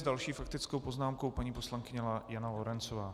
S další faktickou poznámkou paní poslankyně Jana Lorencová.